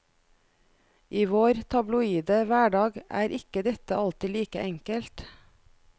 I vår tabloide hverdag er ikke dette alltid like enkelt.